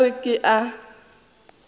o ka re ke a